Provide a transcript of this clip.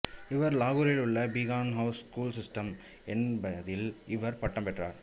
இவர் லாகூரில் உள்ள பீகான் ஹவுஸ் ஸ்கூல் சிஸ்டம் என்பதில் இவர் பட்டம் பெற்றார்